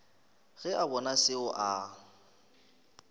ge a bona seo a